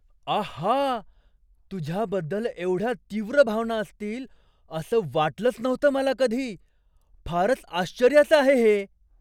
आहा! तुझ्याबद्दल एवढ्या तीव्र भावना असतील असं वाटलंच नव्हतं मला कधी. फारच आश्चर्याचं आहे हे.